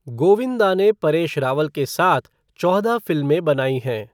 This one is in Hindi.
गोविंदा ने परेश रावल के साथ चौदह फिल्में बनाई हैं।